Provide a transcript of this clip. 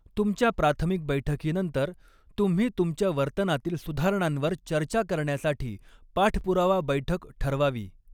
तुमच्या प्राथमिक बैठकीनंतर, तुम्ही तुमच्या वर्तनातील सुधारणांवर चर्चा करण्यासाठी पाठपुरावा बैठक ठरवावी.